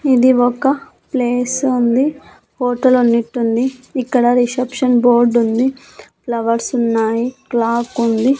ఇది ఒక ప్లేసు ఉంది హోటల్ ఉన్నట్టుంది ఇక్కడ రిసెప్షన్ బోర్డు ఉంది ఫ్లవర్స్ ఉన్నాయి క్లాక్ ఉంది.